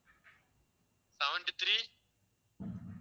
seventy three